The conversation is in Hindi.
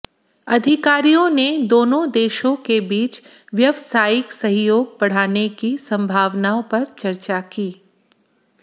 अधिकारियों ने दोनों देशों के बीच व्यवसायिक सहयोग बढ़ाने की संभावनाओं पर चर्चा की